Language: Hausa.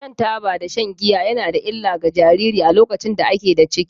Shan taba da shan giya ya na da illa ga jariri a lokacin da a ke da ciki.